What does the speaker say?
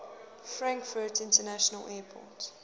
frankfurt international airport